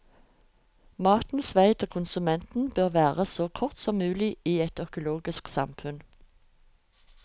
Matens vei til konsumenten bør være så kort som mulig i et økologisk samfunn.